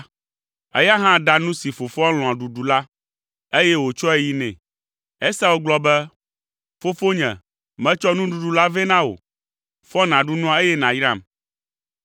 Eya hã ɖa nu si fofoa lɔ̃a ɖuɖu la, eye wòtsɔe yi nɛ. Esau gblɔ be, “Fofonye, metsɔ nuɖuɖu la vɛ na wò. Fɔ nàɖu nua, eye nàyram!”